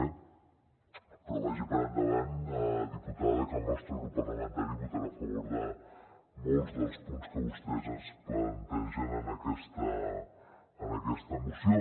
eh vagi per davant diputada que el nostre grup parlamentari votarà a favor de molts dels punts que vostès ens plantegen en aquesta moció